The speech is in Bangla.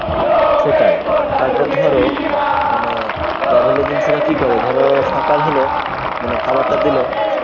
সেটাই। তারপর ধর মানে travel agency রা কী করে ধর সকাল হল মানে খাবারটা দিল।